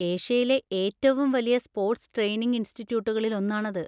ഏഷ്യയിലെ ഏറ്റവും വലിയ സ്പോർട്സ് ട്രെയിനിങ് ഇൻസ്റ്റിട്യൂട്ടുകളിൽ ഒന്നാണത്.